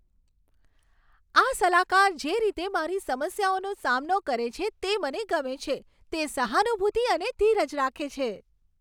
આ સલાહકાર જે રીતે મારી સમસ્યાઓનો સામનો કરે છે તે મને ગમે છે. તે સહાનુભૂતિ અને ધીરજ રાખે છે.